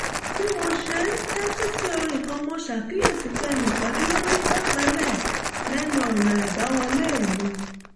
bí mo ṣe ń tẹ́tí sí orin kan mo ṣàkíyèsí pé ẹnì kan dúró ní pẹ̀lẹ́pẹ̀lẹ́ lẹ́nu ọ̀nà àbáwọlé mi